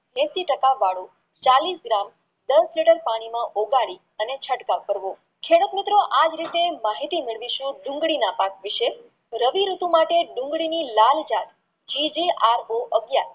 એંશી ટકા વાળું ચાલીસ gram દસ લીટર પાણીમાં ઓગાળી અને ચટકાવ કરવો છેવટ મિત્રો આજ રીતે માહિતી મેળવીશું ડુંગળી ના પાક વિષે રવિ હેઠી માટે ડુંગળીની લાલ જાત GGRO બો અગિયાર